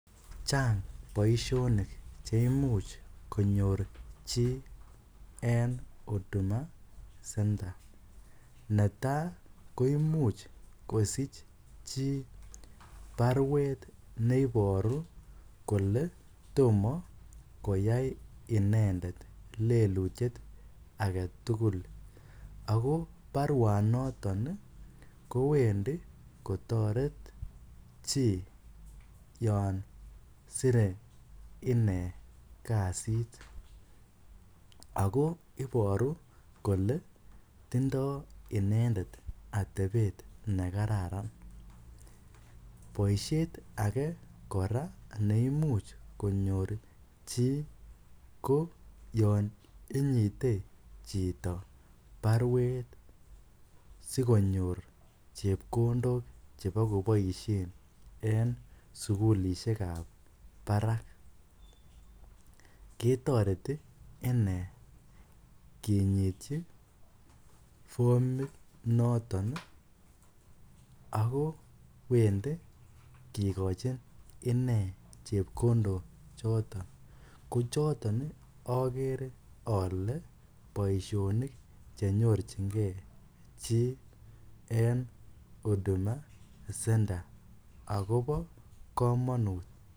Chang boisionik cheimuch konyor chi en Huduma centre .Ne tai koimuch kosich chii baruet neiboru kole tomo koyai inendet lelutiet agetugul, ako baruanoton kowendi kotoret chii yon sire inee kasit, ako iboru kole tindoo inendet atebet nekararan ,boisiet ake kora neimuch konyor chii ko yon inyite chito baruet sikonyor chepkondok chebo koboisien en sugulisiekab barak ketoreti inee kinyityi formit noton ii ako wendi kikochin inee chepkondok choton, kochoton akere ale boisionik chenyorchingee chii en Huduma centre akobo komonut .